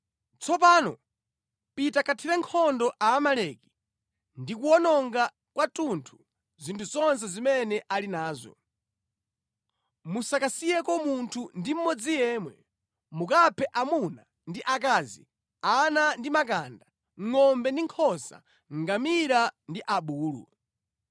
Tsopano pita kathire nkhondo Aamaleki ndi kuwononga kwathunthu zinthu zonse zimene ali nazo. Musakasiyeko munthu ndi mmodzi yemwe. Mukaphe amuna ndi akazi, ana ndi makanda, ngʼombe ndi nkhosa, ngamira ndi abulu.’ ”